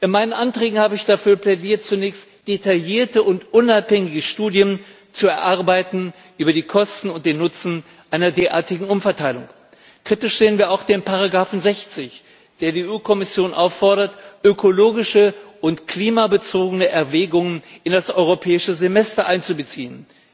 In meinen Anträgen habe ich dafür plädiert, zunächst detaillierte und unabhängige Studien zu erarbeiten über die Kosten und den Nutzen einer derartigen Umverteilung. Kritisch sehen wir auch die Ziffer 60, der die EU Kommission auffordert, ökologische und klimabezogene Erwägungen in das Europäische Semester einzubeziehen.